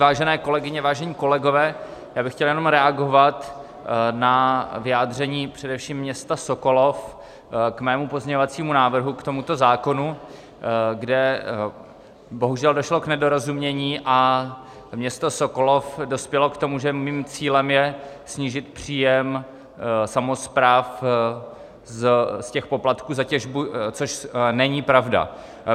Vážené kolegyně, vážení kolegové, já bych chtěl jenom reagovat na vyjádření především města Sokolov k mému pozměňovacímu návrhu k tomuto zákonu, kde bohužel došlo k nedorozumění a město Sokolov dospělo k tomu, že mým cílem je snížit příjem samospráv z těch poplatků za těžbu, což není pravda.